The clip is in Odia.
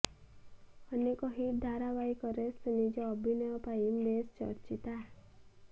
ଅନେକ ହିଟ ଧାରାବାହିକରେ ସେ ନିଜ ଅଭିନୟ ପାଇଁ ବେଶ ଚର୍ଚ୍ଚିତା